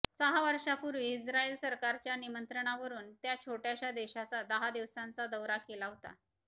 सहा वर्षांपूर्वी इस्रायल सरकारच्या निमंत्रणावरून त्या छोटय़ाशा देशाचा दहा दिवसांचा दौरा केला होता